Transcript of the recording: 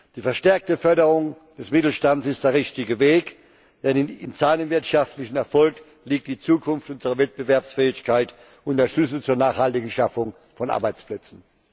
Die verstärkte Förderung des Mittelstands ist der richtige Weg, denn in seinem wirtschaftlichen Erfolg liegt die Zukunft und die Wettbewerbsfähigkeit und der Schlüssel zur nachhaltigen Schaffung von Arbeitsplätzen.